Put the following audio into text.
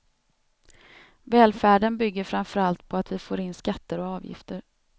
Välfärden bygger framförallt på att vi får in skatter och avgifter.